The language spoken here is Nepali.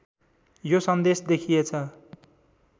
यो सन्देश देखिएछ